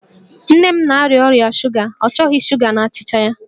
Nne m na-arịa ọrịa shuga, ọ chọghị shuga n'achịcha ya